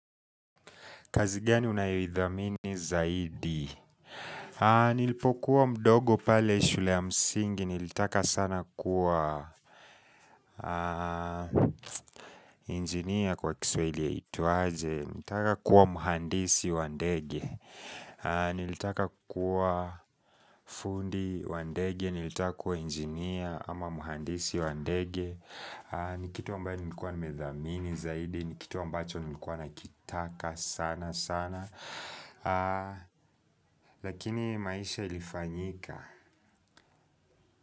Kazi gani unayoidhamini zaidi Nilipokuwa mdogo pale shule ya msingi Nilitaka sana kuwa Engineer kwa kiswahili yaitwaje Nilitaka kuwa muhandisi wa ndege Nilitaka kuwa fundi wa ndege Nilitaka kuwa injinia ama muhandisi wa ndege ni kitu ambayo nilikuwa nimedhamini zaidi ni kitu ambacho nimekuwa nakitaka sana sana lakini maisha ilifanyika.